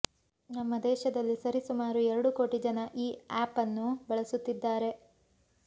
ನಮ್ಮ ದೇಶದಲ್ಲಿ ಸರಿ ಸುಮಾರು ಎರಡು ಕೋಟಿ ಜನ ಈ ಆ್ಯಪನ್ನು ಬಳಸುತ್ತಿದ್ದಾರೆ